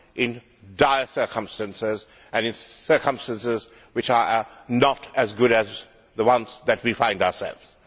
in dire circumstances and in circumstances which are not as good as the ones that we find ourselves in.